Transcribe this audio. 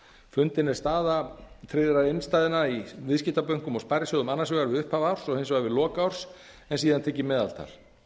fundin er staða tryggðra innstæðna í viðskiptabönkum og sparisjóðum annars vegar við upphaf árs og hins vegar við lok árs en síðan tekið meðaltal